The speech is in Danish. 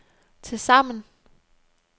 tilsammen